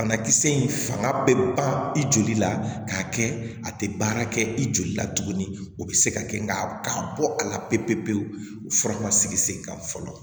Banakisɛ in fanga bɛ ban i joli la k'a kɛ a tɛ baara kɛ i joli la tuguni o bɛ se ka kɛ nka bɔ a la pewu pewu fura ma sigi sen kan fɔlɔ